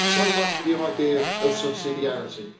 So much for the idea of subsidiarity.